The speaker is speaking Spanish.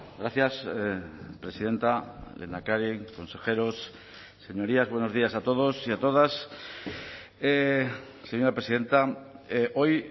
gracias presidenta lehendakari consejeros señorías buenos días a todos y a todas señora presidenta hoy